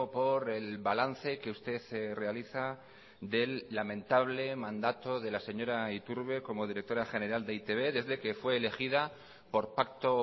por el balance que usted realiza del lamentable mandato de la señora iturbe como directora general de e i te be desde que fue elegida por pacto